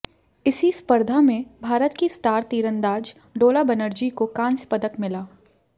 इसी स्पर्धा में भारत की स्टार तीरंदाज डोला बनर्जी को कांस्य पदक मिला